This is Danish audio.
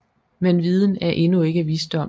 Men viden er endnu ikke visdom